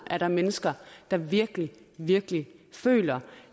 er mennesker der virkelig virkelig føler